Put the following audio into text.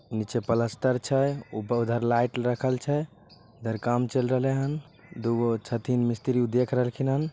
नीचे प्लस्टर छै ऊपर उधर लाइट रखल छै इधर काम चल रहलेन दू गो छथीन मिस्त्री देख रहले हैन।